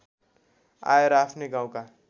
आएर आफ्नै गाउँका